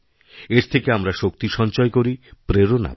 এর থেকেআমরা শক্তি সঞ্চয় করি প্রেরণা পাই